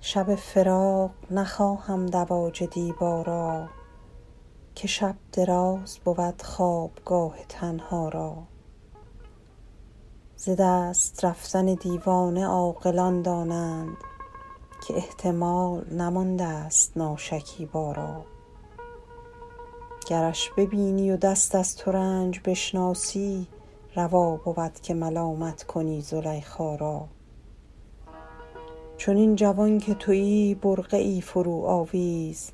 شب فراق نخواهم دواج دیبا را که شب دراز بود خوابگاه تنها را ز دست رفتن دیوانه عاقلان دانند که احتمال نماندست ناشکیبا را گرش ببینی و دست از ترنج بشناسی روا بود که ملامت کنی زلیخا را چنین جوان که تویی برقعی فروآویز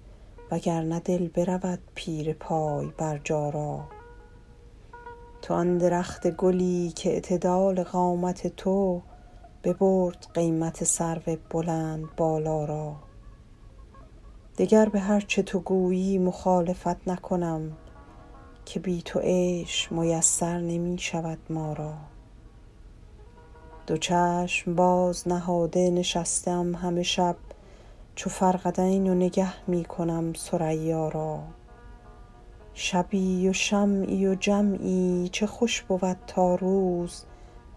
و گر نه دل برود پیر پای برجا را تو آن درخت گلی کاعتدال قامت تو ببرد قیمت سرو بلندبالا را دگر به هر چه تو گویی مخالفت نکنم که بی تو عیش میسر نمی شود ما را دو چشم باز نهاده نشسته ام همه شب چو فرقدین و نگه می کنم ثریا را شبی و شمعی و جمعی چه خوش بود تا روز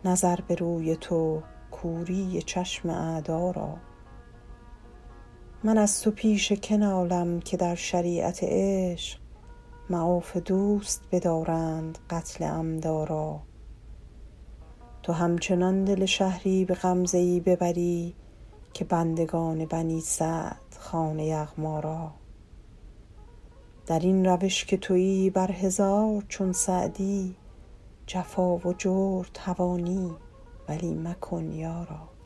نظر به روی تو کوری چشم اعدا را من از تو پیش که نالم که در شریعت عشق معاف دوست بدارند قتل عمدا را تو همچنان دل شهری به غمزه ای ببری که بندگان بنی سعد خوان یغما را در این روش که تویی بر هزار چون سعدی جفا و جور توانی ولی مکن یارا